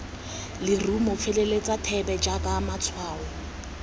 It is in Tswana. lerumo feleletsa thebe jaaka matshwao